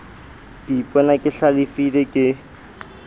ke ipona ke hlalefile ke